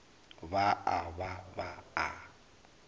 ba a ba ba a